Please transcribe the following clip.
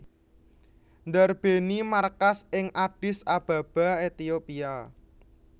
ndarbèni markas ing Addis Ababa Ethiopia